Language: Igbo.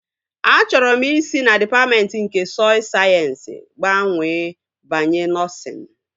Achọrọ m isi na dịpatmentị nke sọy sayensị gbanwee banye nọsịn